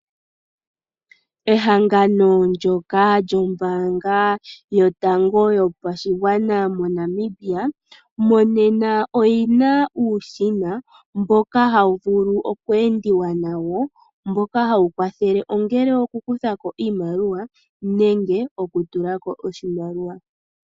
Ehangano ndyoka lyombaanga yotango yopashigwana moNamibia, monena oyi na uushina mboka hawu vulu oku endiwa nawo, mboka hawu kwathele ongele okukutha ko iimaliwa nenge okutula ko oshimaliwa.